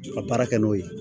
Ka baara kɛ n'o ye